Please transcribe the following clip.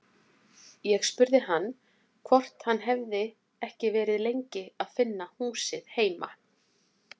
Ég spurði hann hvort hann hefði ekki verið lengi að finna húsið heima.